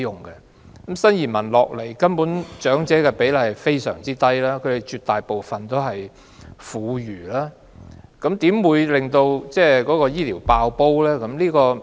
來港的新移民中，長者的比例根本非常低，他們絕大部分是婦孺，又如何導致醫療服務"爆煲"呢？